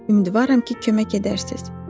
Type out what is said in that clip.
Ümidvaram ki, kömək edərsiniz.